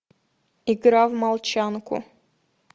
игра в молчанку